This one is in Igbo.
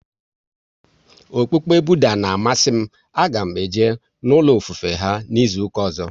Okpukpe Budha na amasị m, a ga m eje n'ulo ofufe ha n'izuka ọzọ